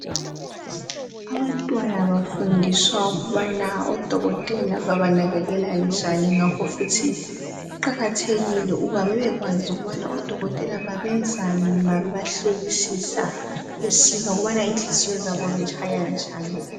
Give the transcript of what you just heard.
Abantwana bafundiswa ukubana odokotela babanakekela njani ngakho futhi kuqakathekile ukuba bebekwazi udokotela babenzani ma bebahlolisisa isiza ngokubana inhliziyo zabo zitshaya njani.